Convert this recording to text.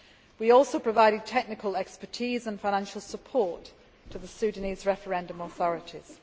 We also provided technical expertise and financial support to the Sudanese referendum authorities.